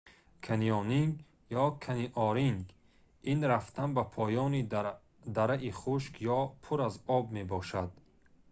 канионинг ё каниониринг - ин рафтан ба поёни дараи хушк ё пур аз об мебошад